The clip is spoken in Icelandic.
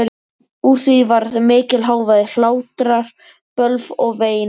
Úr því varð mikill hávaði, hlátrar, bölv og vein.